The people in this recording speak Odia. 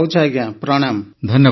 ରହୁଛି ଆଜ୍ଞା ପ୍ରଣାମ